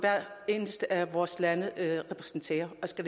vores lande hver især repræsenterer og skal